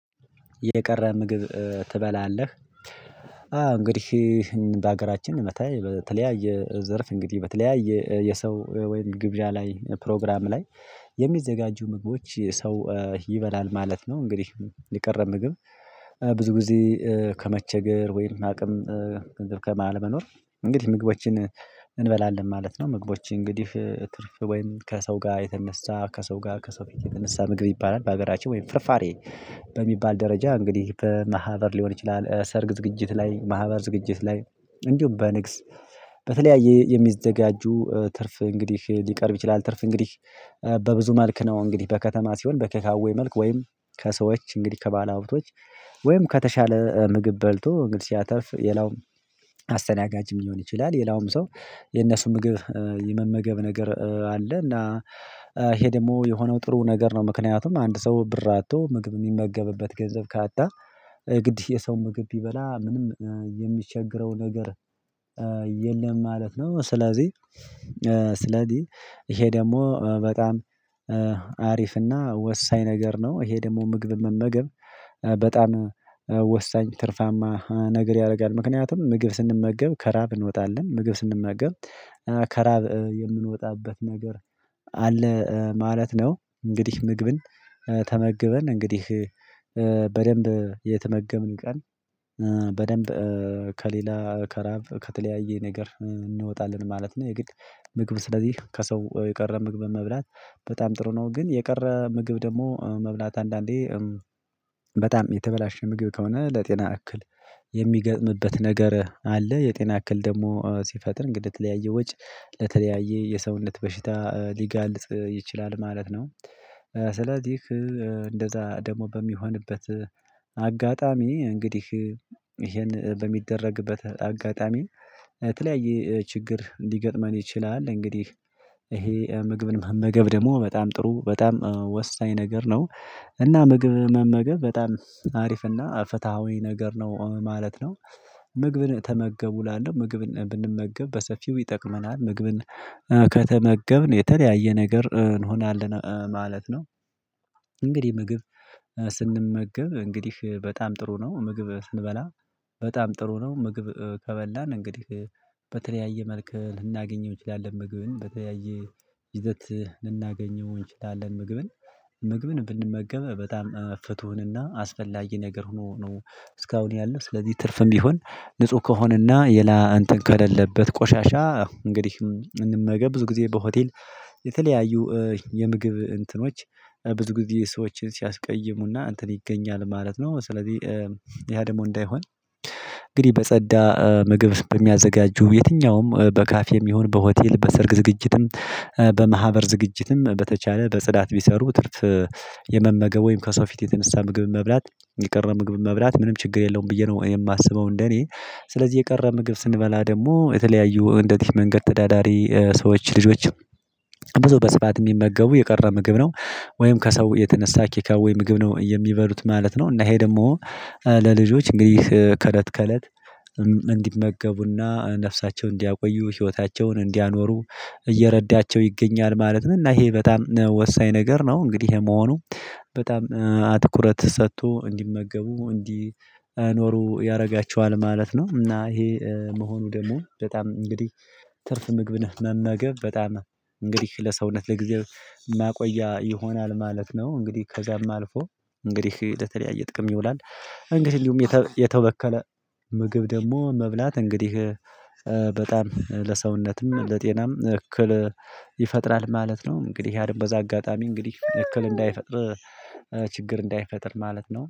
የቀረ ምግብ ትበላለህ? አዎ እንግዲህ ይህን በሀገራችን እንመታይ በተለያየ ዘርፍ እንግዲህ በተለያየ የሰው ወይም ግብዣ ላይ ፕሮግራም ላይ የሚዘጋጁ ምግቦች ሰው ይበላል ማለት ነው። እንግዲህ የቀር ምግብ ብዙ ጊዜ ከመቸገር ወይም አቅም ገንዘብ ከመሃል መኖር እንግዲህ ምግቦችን እንበላለን ማለት ነው። ምግቦች እንግዲህ ትርፍ ወይም ከሰው ጋር የተነሳ ከሰው ጋር ከሰው ፊት የተነሳ ምግብ ይባላል። በሀገራችን ወይም ፍርፋሬ በሚባል ደረጃ እንግዲህ በማህበር ሊሆን ይችላል። ሰርግ ዝግጅት ላይ ማህበር ዝግጅት ላይ እንዲሁም በንግስ በተለያየ የሚዘጋጁ ትርፍ እንግዲህ ሊቀርብ ይችላል። ትርፍ እንግዲህ በብዙ መልክ ነው። እንግዲህ በከተማ ሲሆን በቴካዌ መልኩ ወይም ከሰዎች እንግዲህ ከባለሀብቶች ወይም ከተሻለ ምግብ በልቶ እንግዲህ ሲያተርፍ የላውም አስተናጋጅ የሚሆን ይችላል። የላውም ሰው የነሱን ምግብ የመመገብ ነገር አለና እና ይሄ ደግሞ የሆነው ጥሩ ነገር ነው። ምክንያቱም አንድ ሰው ብር አጥቶ ምግብ የሚመገብበት ገንዘብ ካጣ ግድ የሰው ምግብ ቢበላ ምንም የሚቸገረው ነገር የለም ማለት ነው። ስለዚህ ስለዚህ ይሄ ደግሞ በጣም አሪፍና ወሳኝ ነገር ነው። ይሄ ደግሞ ምግብ መመገብ በጣም ወሳኝ ትርፋማ ነገር ያደርጋል። ምክንያቱም ምግብ ስንመገብ ከራሀብ እንወጣለን ምግብ ስንመገብ ከራሀብ የምንወጣበት ነገር አለ ማለት ነው። እንግዲህ ምግብን ተመግበን እንግዲህ በደንብ የተመገብን ቀን በደንብ ከሌላ ከራሀብ ከተለያየ ነገር እንወጣለን ማለት ነው። የግድ ምግብ ስለዚህ ከሰው የቀረ ምግብ መብላት በጣም ጥሩ ነው። ግን የቀረ ምግብ ደግሞ መብላት አንዳንዴ በጣም የተበላሸ ምግብ ከሆነ ለጤና እክል የሚገጥምበት ነገር አለ። የጤና እክል ደግሞ ሲፈጥር እንግዲህ የተለያየ ወጪ ለተለያየ የሰውነት በሽታ ሊጋልጥ ይችላል ማለት ነው። ስለዚህ እንደዛ ደግሞ በሚሆንበት አጋጣሚ እንግዲህ ይሄን በሚደረግበት አጋጣሚ የተለያየ ችግር እንዲገጥመን ይችላል። እንግዲህ ይሄ ምግብን መመገብ ደግሞ በጣም ጥሩ በጣም ወሳኝ ነገር ነው። እና ምግብ መመገብ በጣም አሪፍና ፍትሃዊ ነገር ነው ማለት ነው። ምግብን ተመገቡ እላለሁ ምግብን ብንመገብ በሰፊው ይጠቅመናል ምግብን ከተመገብን የተለያየ ነገር እንሆናለን ማለት ነው። እንግዲህ ምግብ ስንመገብ እንግዲህ በጣም ጥሩ ነው። ምግብ ስንበላ በጣም ጥሩ ነው። ምግብ ከበላን እንግዲህ በተለያየ መልኩ ልናገኘው እንችላለን። ምግብን በተያየ ይዘት ልናገኘው እንችላለን። ምግብን ምግብን ብንመገብ በጣም ፍቱን እና አስፈላጊ ነገር ሆኖ ነው። እስካሁን ያለው ስለዚህ ትርፍም ቢሆን ንጹህ ከሆነና ሌላ እንትን ከሌለበት ቆሻሻ እንግዲህ እንመገብ ብዙ ጊዜ በሆቴል የተለያዩ የምግብ እንትኖች ብዙ ጊዜ ሰዎችን ሲያስቀይሙና እንትን ይገኛል ማለት ነው። ስለዚህ ያ ደግሞ እንዳይሆን እንግዲህ በጸዳ ምግብ በሚያዘጋጁ የትኛውም በካፌም ይሁን በሆቴል በሰርግ ዝግጅትም በማህበር ዝግጅትም በተቻለ በጽዳት ቢሰሩ ትርፍ የመመገብ ወይም ከሰው ፊት የተነሳ ምግብ መብላት የቀረ ምግብ መብላት ምንም ችግር የለውም። ብዬ ነው የማስበው እንደኔ ስለዚህ የቀረ ምግብ ስንበላ ደግሞ የተለያዩ እንደዚህ መንገድ ተዳዳሪ ሰዎች ልጆችም ብዙ በስርዓት የሚመገቡ የቀረ ምግብ ነው ወይም ከሰው የተነሳ ቴካዌ ምግብ ነው የሚበሉት ማለት ነው። እና ይሄ ደግሞ ለልጆች እንግዲህ ከለት ከለት እንዲመገቡና ነፍሳቸው እንዲያቆዩ ህይወታቸውን እንዲያኖሩ እየረዳቸው ይገኛል ማለት ነው። እና ይሄ በጣም ወሳኝ ነገር ነው። እንግዲህ ይሄ መሆኑ በጣም ትኩረት ሰጥቶ እንዲመገቡ እንዲኖሩ ያደርጋቸዋል ማለት ነው። እና ይሄ መሆኑ ደግሞ በጣም እንግዲህ ትርፍ ምግብ ነህ መመገብ በጣም እንግዲህ ለሰውነት ለጊዜው ማቆያ ይሆናል ማለት ነው። እንግዲህ ከዚያም አልፎ እንግዲህ ለተለያየ ጥቅም ይውላል። እንግዲህ ሁሉም የተበከለ ምግብ ደግሞ መብላት እንግዲህ በጣም ለሰውነትም ለጤናም እክል ይፈጥራል ማለት ነው። እንግዲህ ያንም በዛ አጋጣሚ እንግዲህ እክል እንዳይፈጥር ችግር እንዳይፈጥር ማለት ነው